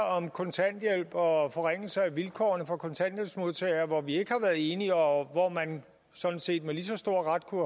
om kontanthjælp og forringelse af vilkårene for kontanthjælpsmodtagere hvor vi ikke har været enige og hvor man sådan set med lige så stor ret kunne